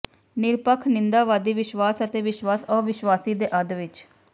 ਨਿਰਪੱਖ ਨਿੰਦਾਵਾਦੀ ਵਿਸ਼ਵਾਸ ਅਤੇ ਵਿਸ਼ਵਾਸ ਅਵਿਸ਼ਵਾਸੀ ਦੇ ਅੱਧ ਵਿਚ